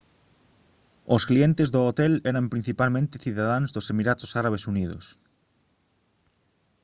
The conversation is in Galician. os clientes do hotel eran principalmente cidadáns dos emiratos árabes unidos